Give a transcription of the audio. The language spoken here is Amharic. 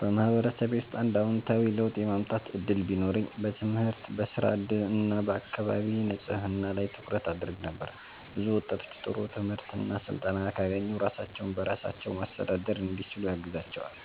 በማህበረሰቤ ውስጥ አንድ አዎንታዊ ለውጥ የማምጣት እድል ቢኖረኝ በትምህርት፣ በሥራ እድል እና በአካባቢ ንጽህና ላይ ትኩረት አደርግ ነበር። ብዙ ወጣቶች ጥሩ ትምህርት እና ስልጠና ካገኙ ራሳቸውን በራሳቸው ማስተዳደር እንዲችሉ ያግዛቸዋል።